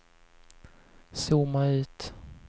zooma ut